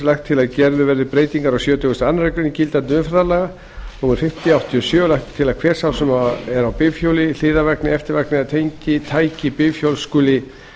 gerðar verði breytingar á sjötugasta og aðra grein gildandi umferðarlaga númer fimmtíu nítján hundruð áttatíu og sjö lagt er til að hver sá sem er á bifhjóli hliðarvagni eftirvagni eða tengitæki bifhjóls skuli